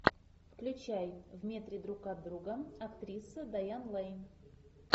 включай в метре друг от друга актриса дайан лэйн